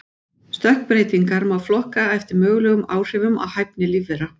Stökkbreytingar má flokka eftir mögulegum áhrifum á hæfni lífvera.